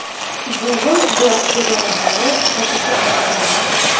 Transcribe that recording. Google Glass ko‘zoynaklari sotuvga qaytarildi.